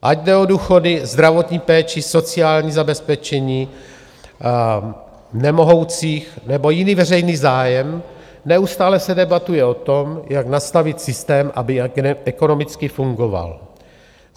Ať jde o důchody, zdravotní péči, sociální zabezpečení nemohoucích, nebo jiný veřejný zájem, neustále se debatuje o tom, jak nastavit systém, aby ekonomicky fungoval.